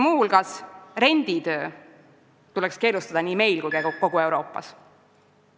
Muuseas, renditöö tuleks keelustada nii meil kui ka kogu Euroopas.